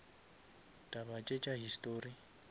taba tše tša histori